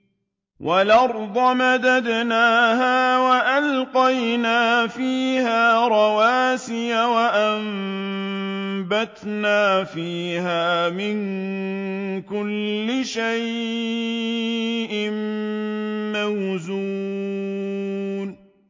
وَالْأَرْضَ مَدَدْنَاهَا وَأَلْقَيْنَا فِيهَا رَوَاسِيَ وَأَنبَتْنَا فِيهَا مِن كُلِّ شَيْءٍ مَّوْزُونٍ